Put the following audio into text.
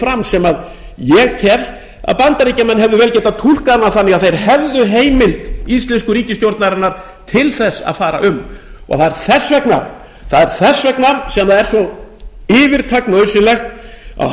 fram sem ég tel að bandaríkjamenn hefðu vel getað hana þannig að þeir hefðu heimild íslensku ríkisstjórnarinnar til þess að fara um þess vegna er það svo yfirtak nauðsynlegt að